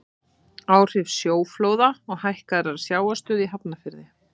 Áhrif sjóflóða og hækkaðrar sjávarstöðu í Hafnarfirði.